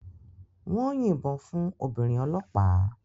Wọ́n yìnbọn fún obìnrin ọlọ́pàá